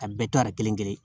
A bɛɛ tora kelen kelen